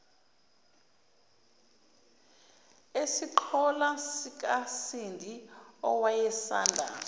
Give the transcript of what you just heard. esiqholo sikasindi owayesanda